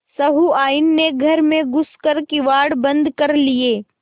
सहुआइन ने घर में घुस कर किवाड़ बंद कर लिये